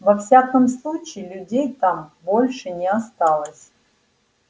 во всяком случае людей там больше не осталось